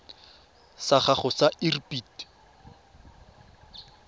sa gago sa irp it